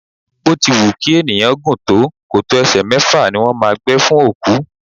Bó ti wù kí ènìyàn gùn tó, kòtò ẹsẹ mẹ́fà ni wón máa ń gbẹ fún òkú.